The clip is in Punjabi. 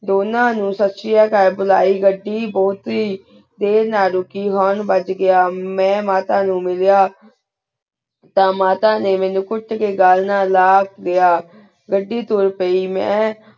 ਦੋਨਾ ਨੂ ਹੇਇ ਸਸ੍ਰੇਯਾ ਕਾਲ ਬੁਲਾਯ ਘੜੀ ਬੁਹਤ ਹੇਇ ਦੇਰ ਨਾਲ ਰੁਕੀ ਹੁਰਾਂ ਬਾਜ ਘੇਯਾ ਮੈਂ ਮਾਤਾ ਨੂ ਮਿਲਯਾ ਤਾਂ ਮਾਤਾ ਨੀ ਮੀਨੁ ਕੁਟ ਕੀ ਘਾਲ ਨਾਲ ਲਾ ਲੇਯ ਘੜੀ ਤੁਰ ਪੈ ਮੈਂ